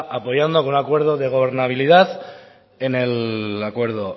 apoyando con un acuerdo de gobernabilidad en el acuerdo